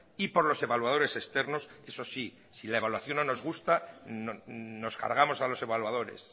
y por los evaluadores externos eso sí si la evaluación no nos gusta nos cargamos a los evaluadores